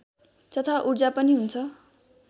तथा ऊर्जा पनि हुन्छ